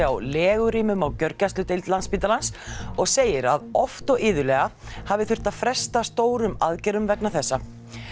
á legurýmum á gjörgæsludeild Landspítalans og segir að oft og iðulega hafi þurft að fresta stórum aðgerðum vegna þessa